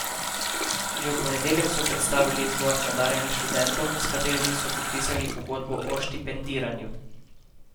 Že v ponedeljek so predstavili izbor nadarjenih študentov, s katerimi so podpisali pogodbe o štipendiranju.